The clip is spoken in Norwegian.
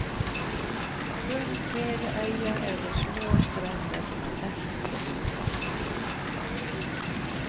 Rundt hele øya er det små strender som er verdt å utforske.